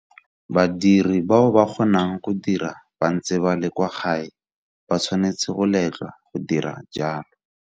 Badiri bao ba kgonang go dira ba ntse ba le kwa gae ba tshwanetse go letlwa go dira jalo.